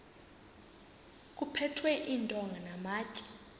kuphethwe iintonga namatye